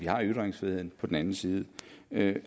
har ytringsfrihed og den anden side ikke